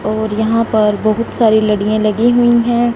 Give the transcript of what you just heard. और यहां पर बहुत सारी लड़ियां लगी हुई हैं।